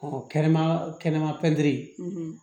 kɛnɛma kɛnɛma